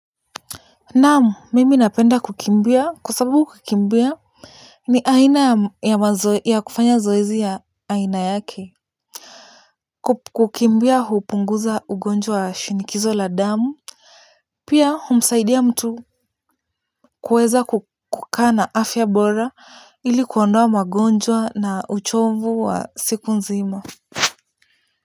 Naam, mimi napenda kukimbia kwa sababu kukimbia ni aina ya kufanya zoezi ya aina yake. Kukimbia hupunguza ugonjwa wa shinikizo la damu. Pia humsaidi mtu kuweza kukaa na afya bora ili kuondoa magonjwa na uchovu wa siku nzima.